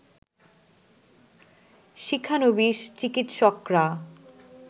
শিক্ষানবিশ চিকিৎসকরা